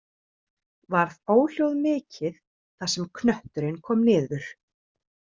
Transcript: Varð óhljóð mikið þar sem knötturinn kom niður.